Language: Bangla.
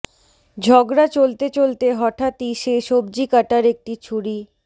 ঝগড়া চলতে চলতে হঠাত্ই সে সবজি কাটার একটি ছুরি